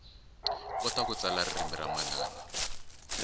kota ku tsala ririmi ra manana